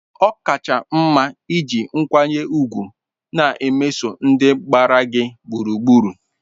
ọ kacha mma iji nkwanye ùgwù na-emeso ndị gbara gị gburugburu.